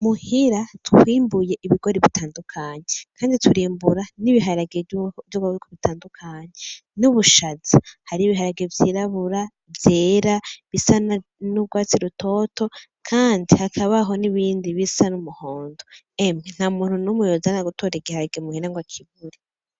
Muhira twimbuye ibigori bitandukanye. Kandi turimbura n'ibiharage vy'ubwoko butandukanye, n'ubushaza. Hariho ibiharage vyirabura, vyera bisa n'ugwatsi rutoto kandi hakabaho n'ibindi bisa n'umuhondo. Emwe, ntamuntu yoza gutora igiharage muhira ngo akibure.